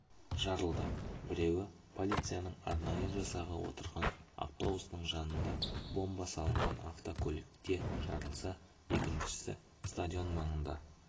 жарылды біреуі полицияның арнайы жасағы отырған автобустың жанында бомба салынған автокөлікте жарылса екіншісін стадион маңында